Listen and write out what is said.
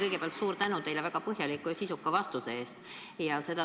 Kõigepealt suur tänu teile väga põhjaliku ja sisuka vastuse eest!